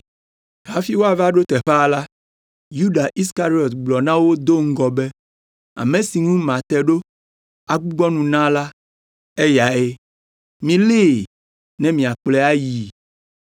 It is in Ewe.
Hafi woava ɖo teƒea la, Yuda Iskariɔt gblɔ na wo do ŋgɔ be, “Ame si ŋu mate ɖo agbugbɔ nu na la, eyae, milée, ne miakplɔe ayii.”